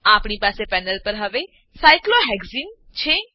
આપણી પાસે પેનલ પર હવે સાયક્લોહેક્સને સાયક્લોહેક્ઝીન છે